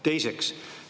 Teiseks.